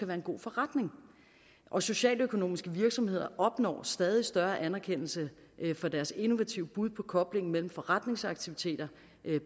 være en god forretning og socialøkonomiske virksomheder opnår stadig større anerkendelse for deres innovative bud på koblingen mellem forretningsaktiviteter